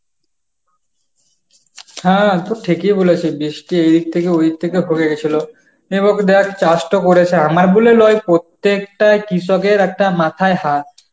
হ্যাঁ তো ঠিকই বলেছিস বৃষ্টি এদিক থেকে ওদিক থেকে হয়ে গেছিল এবারে দেখ চাষতো করেছে, আমার বলে নয় প্রত্যেকটাই কৃষকের একটা মাথায় হাত